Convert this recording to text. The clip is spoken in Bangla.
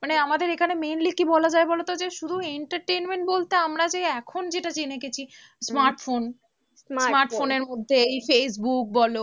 মানে আমাদের এখানে mainly কি বলা যায় বলো তো? যে শুধু entertainment বলতে আমরা যে এখন যেটা জেনে গেছি smartphone smartphone এর মধ্যে এই Facebook বলো,